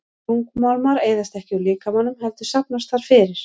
Þungmálmar eyðast ekki úr líkamanum heldur safnast þar fyrir.